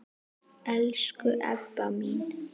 Elsku Ebba mín.